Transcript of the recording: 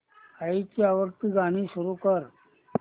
आईची आवडती गाणी सुरू कर